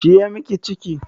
Shi ya miki ciki?